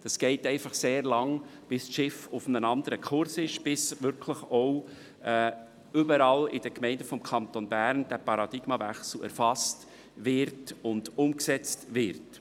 Es dauert einfach sehr lange, bis sich das Schiff auf einem anderen Kurs befindet, bis der Paradigmenwechsel wirklich überall in den Gemeinden des Kantons Bern erfasst und umgesetzt wird.